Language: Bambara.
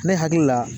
Ne hakili la